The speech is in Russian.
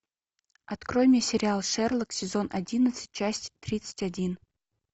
открой мне сериал шерлок сезон одиннадцать часть тридцать один